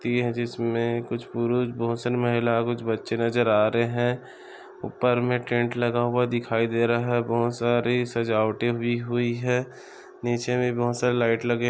इसमे कुछ पुरुष बहुत सारे महिला कुछ बच्चे नजर आ रहे है ऊपर हमे टेंट लगा हुआ दिखाई दे रहा है बहुत सारी सजावट भी हुई है। नीचे भी बहुत सारे लाइट लगे--